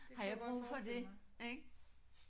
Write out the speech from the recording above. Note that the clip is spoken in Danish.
Har jeg brug for det ik